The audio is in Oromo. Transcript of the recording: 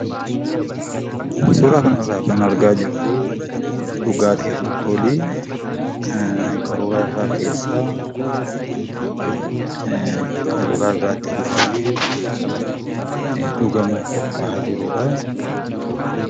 Suuraa kanarraa kan argaa jirru dhugaatii alkoolii qaruuraa irra keessaa qaruuraa biraatti buufamee dhugamuuf qophaa'aa jirudha.